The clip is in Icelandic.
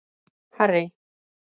Harry